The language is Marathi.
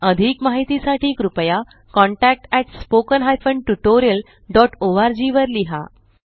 अधिक माहिती साठी कृपया contactspoken tutorialorg वर लिहा